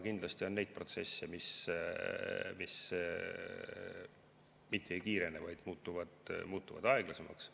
Kindlasti on ka neid protsesse, mis mitte ei kiirene, vaid muutuvad aeglasemaks.